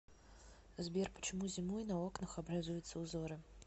сбер почему зимой на окнах образуются узоры